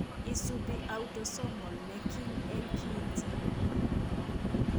Iisuubi autosomal ne kiim eng' kiinti.